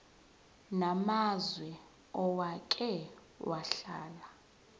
namazwe owake wahlala